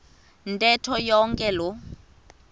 ntetho yonke loo